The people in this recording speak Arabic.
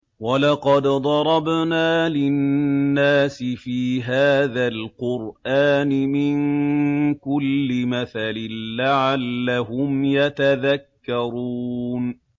وَلَقَدْ ضَرَبْنَا لِلنَّاسِ فِي هَٰذَا الْقُرْآنِ مِن كُلِّ مَثَلٍ لَّعَلَّهُمْ يَتَذَكَّرُونَ